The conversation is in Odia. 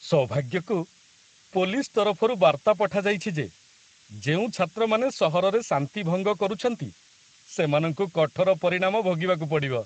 ସୌଭାଗ୍ୟକୁ, ପୋଲିସ ତରଫରୁ ବାର୍ତ୍ତା ପଠାଯାଇଛି ଯେ ଯେଉଁ ଛାତ୍ରମାନେ ସହରରେ ଶାନ୍ତି ଭଙ୍ଗ କରୁଛନ୍ତି ସେମାନଙ୍କୁ କଠୋର ପରିଣାମ ଭୋଗିବାକୁ ପଡ଼ିବ।